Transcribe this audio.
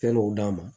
Fɛn dɔw d'a ma